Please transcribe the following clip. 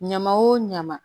Ɲaman o ɲama